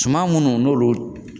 Suma minnu n'olu